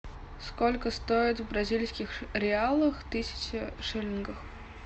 сколько стоит в бразильских реалах тысяча шиллингов